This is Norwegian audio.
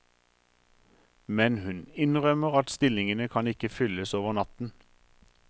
Men hun innrømmer at stillingene kan ikke fylles over natten.